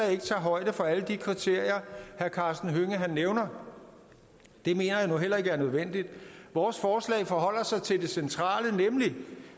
ikke tager højde for alle de kriterier herre karsten hønge nævner det mener jeg nu heller ikke er nødvendigt vores forslag forholder sig til det centrale nemlig